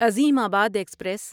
عظیم آباد ایکسپریس